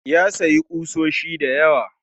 Ya sayi kusoshi dayawa